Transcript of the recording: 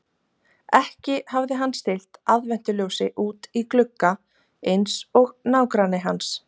Ekki hafði hann stillt aðventuljósi út í glugga eins og nágranni hans.